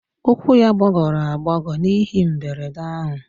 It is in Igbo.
Ụkwụ ya gbagọrọ agbagọ n'ihe mberede ahụ